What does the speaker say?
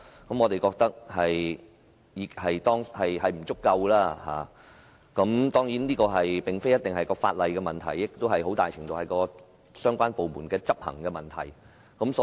我覺得當局在這方面的工作並不足夠，而這並不一定是因為法例有問題，很大程度是由於相關部門的執行問題所致。